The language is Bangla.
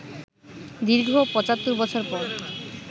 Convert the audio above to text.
দীর্ঘ ৭৫ বছর পর